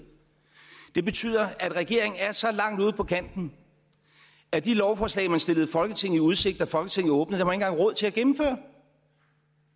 det betyder at regeringen er så langt ude på kanten at de lovforslag man stillede folketinget i udsigt da folketinget åbnede har engang råd til at gennemføre